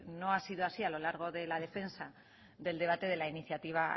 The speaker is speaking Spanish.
no ha sido así a lo largo de la defensa del debate de la iniciativa